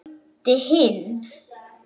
ég meinti hinn.